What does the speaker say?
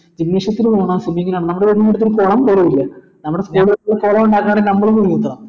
gymnasium കുളം പോലുമില്ല നമ്മള school ൽ കുളം ഉണ്ടാക്ക പറയുന്നേ സംഭവം ബുദ്ധിമുട്ട